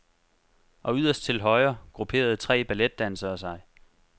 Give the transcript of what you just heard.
Og yderst til højre grupperede tre balletdansere sig.